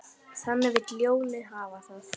Þannig vill ljónið hafa það.